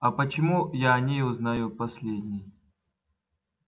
а почему я о ней узнаю последний